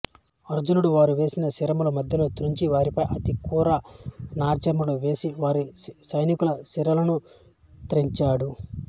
అర్జునుడు వారు వేసిన శరములు మధ్యలో త్రుంచి వారిపై అతి క్రూర నారాచములు వేసి వారి సైనికుల శిరస్సులను త్రెంచాడు